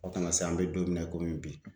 A kana se yan, an be don min na i bi.